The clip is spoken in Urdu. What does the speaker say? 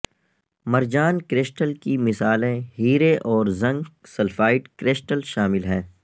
مرجان کرسٹل کی مثالیں ہیرے اور زنک سلفائڈ کرسٹل شامل ہیں